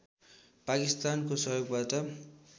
पाकिस्तानको सहयोगबाट